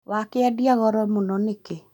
Wakĩendia goro mũũno nĩkĩ